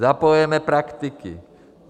Zapojujeme praktiky.